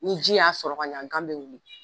Ni ji y'a sɔrɔ ka ɲɛ gan bɛ wuli.